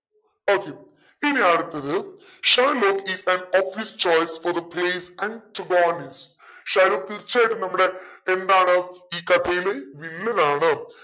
okay ഇനി അടുത്തത് Shylock is an Shylock തീർച്ചയായിട്ടും നമ്മുടെ എന്താണ് ഈ കഥയിലെ വില്ലനാണ്